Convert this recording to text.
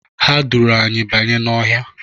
Ha duuru anyị banye n'ọhịa.